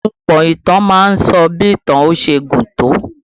Ahunpọ̀ ìtàn má ń sọ bí ìtàn yóò ṣe gùn tó